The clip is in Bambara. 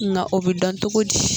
Nka o bɛ dɔn cogo di